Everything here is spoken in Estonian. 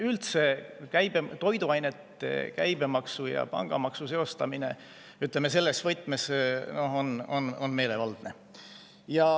Üldse on toiduainete käibemaksu ja pangamaksu seostamine, ütleme, selles võtmes meelevaldne.